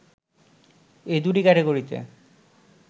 এই দু’টি ক্যাটাগরিতে